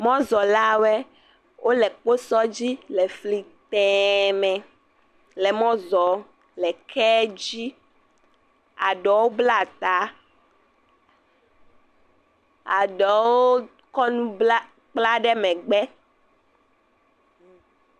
mɔzɔlawoe wóle kpósɔ dzi lɛ fli tɛ̃ mɛ lɛ mɔzɔ lɛ kɛdzi aɖewo bla ta aɖewo kɔ nu kpla ɖe mɛgbɛ